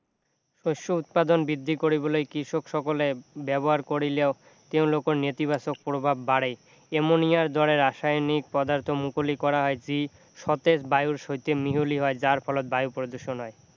শস্য় উৎপাদন বৃদ্ধি কৰিবলৈ কৃষক সকলে ব্যৱহাৰ কৰিলেও তেওঁলোকৰ নেতিবাচক প্ৰভাৱ বাঢ়ে এমনিয়াৰ দৰে ৰাসায়নিক পদাৰ্থ মুকলি কৰা হয় যি সতেজ বায়ুৰ সৈতে মিহলি হয় যাৰ ফলত বায়ু প্ৰদূষণ হয়